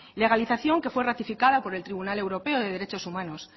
legalización que fue ratificada por el tribunal europeo de derechos humanos